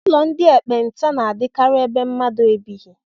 Ụlọ ndị ekpenta na-adịkarị ebe mmadụ ebighị